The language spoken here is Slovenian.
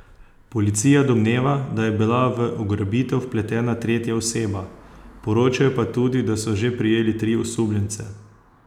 Policija domneva, da je bila v ugrabitev vpletena tretja oseba, poročajo pa tudi, da so že prijeli tri osumljence.